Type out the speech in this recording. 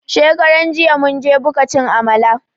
Shekaran jiya mun je buka cin Amala